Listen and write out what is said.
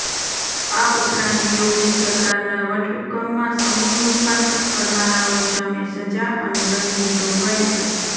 આ ઉપરાંત યોગી સરકારના વટહુકમમાં સમૂહ રૂપાંતર કરનારાઓ સામે સજા અને દંડની જોગવાઈ છે